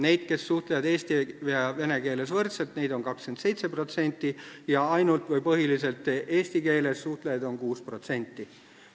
Neid, kes suhtlevad eesti ja vene keeles võrdselt, on 27% ning ainult või põhiliselt eesti keeles suhtlejaid on 6%.